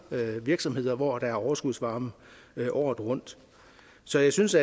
virksomheder hvor der er overskudsvarme året rundt så jeg synes